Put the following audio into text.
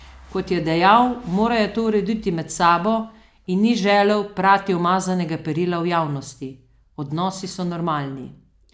Kot je dejal, morajo to urediti med sabo in ni želel "prati umazanega perila v javnosti": "Odnosi so normalni.